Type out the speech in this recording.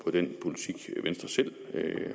på den politik venstre selv